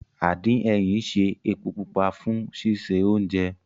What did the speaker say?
Àdín ẹyìn ń ṣe epo pupa fún sísè oúnjẹ